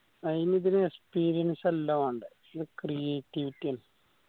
അയിനിത്തിന് experience അല്ല വാണ്ടേ ഇയിൻ creativity ആണ്